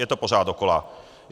Je to pořád dokola.